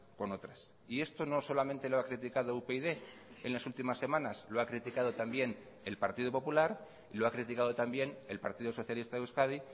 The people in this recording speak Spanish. con otras y esto no solamente lo ha criticado upyd en las últimas semanas lo ha criticado también el partido popular lo ha criticado también el partido socialista de euskadi